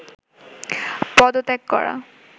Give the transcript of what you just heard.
পদত্যাগ করা